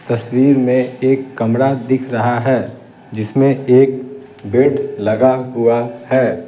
तस्वीर में एक कमरा दिख रहा है जिसमें एक बेड लगा हुआ है।